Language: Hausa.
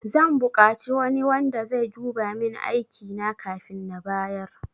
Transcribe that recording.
Zan bukaci wani wanda sai duba min aikina kafin na bayar